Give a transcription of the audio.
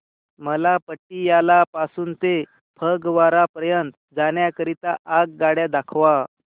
मला पटियाला पासून ते फगवारा पर्यंत जाण्या करीता आगगाड्या दाखवा